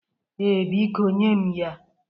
Ee, biko nye m ya.